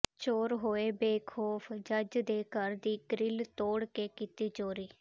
ਚੋਰ ਹੋਏ ਬੇਖੌਫ ਜੱਜ ਦੇ ਘਰ ਦੀ ਗਰਿੱਲ ਤੋੜ ਕੇ ਕੀਤੀ ਚੋਰੀ